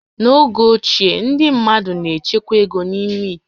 N'oge ochie, ndị mmadụ na-echekwa égo n'ime íté